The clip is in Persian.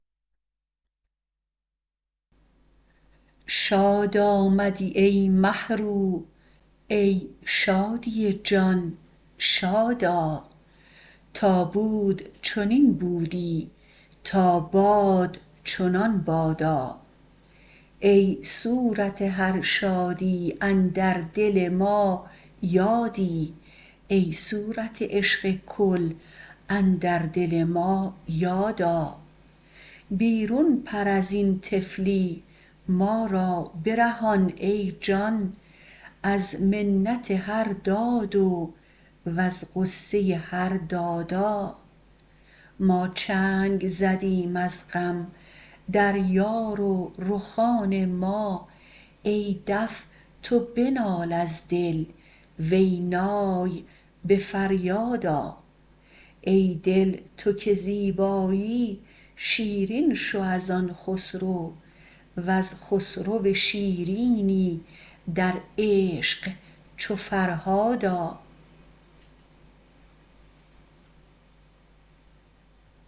شاد آمدی ای مه رو ای شادی جان شاد آ تا بود چنین بودی تا باد چنان بادا ای صورت هر شادی اندر دل ما یادی ای صورت عشق کل اندر دل ما یاد آ بیرون پر از این طفلی ما را برهان ای جان از منت هر دادو وز غصه هر دادا ما چنگ زدیم از غم در یار و رخان ما ای دف تو بنال از دل وی نای به فریاد آ ای دل تو که زیبایی شیرین شو از آن خسرو ور خسرو شیرینی در عشق چو فرهاد آ